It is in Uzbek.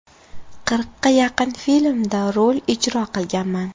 Qirqqa yaqin filmda rol ijro qilganman.